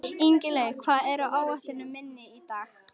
Ingilaug, hvað er á áætluninni minni í dag?